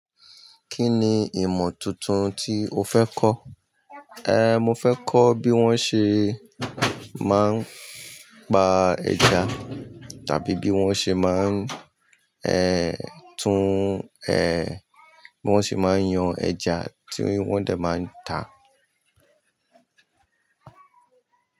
Kí ni ìmọ̀ tuntun tí o fẹ́ kọ́? Ehn, mo fẹ́ kọ́ bí wọ́n ṣe máa ń pa ẹja tàbí bí wọ́n ṣe máa ń, eh, tún eh, bí wọ́n ṣe máa ń yan ẹja tí wọ́n dẹ̀ máa ń ta á.